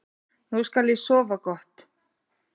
Nú skal ég sofa gott.